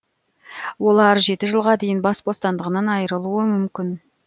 олар жеті жылға дейін бас бостандығынан айырылуы мүмкін